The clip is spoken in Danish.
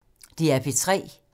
DR P3